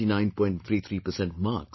33% marks